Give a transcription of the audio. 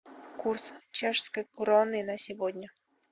курс чешской кроны на сегодня